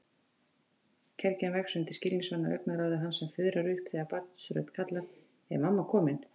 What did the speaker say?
Kergjan vex undir skilningsvana augnaráði hans en fuðrar upp þegar barnsrödd kallar: Er mamma komin?